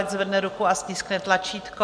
Ať zvedne ruku a stiskne tlačítko.